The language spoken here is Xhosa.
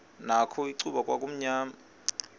nakho icuba kwakumnyama